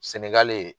Senegali